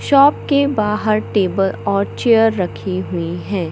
Shop के बाहर table और चेयर रखी हुई है।